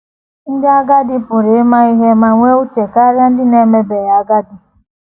Ndị agadi pụrụ ịma ihe ma nwee uche karịa ndị na - emebeghị agadi.